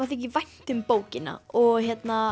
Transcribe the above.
þykir vænt um bókina og